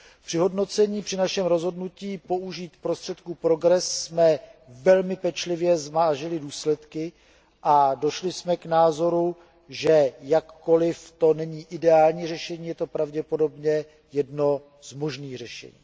Při hodnocení našeho rozhodnutí o použití prostředků programu PROGRESS jsme velmi pečlivě zvážili důsledky a došli jsme k názoru, že jakkoliv to není ideální řešení, je to pravděpodobně jedno z možných řešení.